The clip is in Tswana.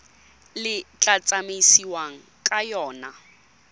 le tla tsamaisiwang ka yona